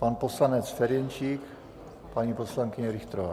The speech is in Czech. Pan poslanec Ferjenčík, paní poslankyně Richterová.